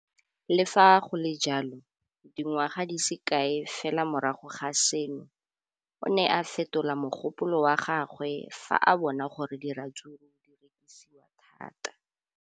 Le fa go le jalo, dingwaga di se kae fela morago ga seno, o ne a fetola mogopolo wa gagwe fa a bona gore diratsuru di rekisiwa thata.